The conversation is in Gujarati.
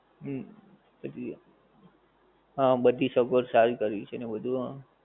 હું, હજીય્. હં બધી સગવડ સારી કરી છે ને બધુ હં